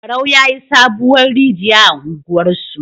Barau yayi sabuwar rigiya a unguwar su